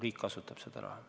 Riik ju kasutab seda raha.